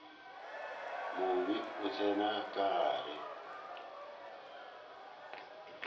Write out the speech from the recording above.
mobe a tsena ka gare